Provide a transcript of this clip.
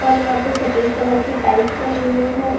और यहाँ पे सफेद कलर के टाइल्स लगे हुए हैं।